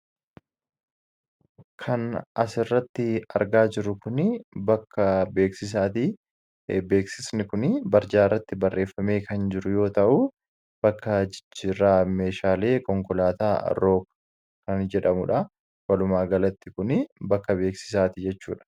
kan as irratti argaa jiru kun bakka beeksaati .beeksisni kun barjaa irratti barreeffamee kan jiru yoo ta'u bakka jiraa meeshaalee konkolaataa rook kan jedhamudha walumaa galatti kun bakka beeksisaatii jechuudha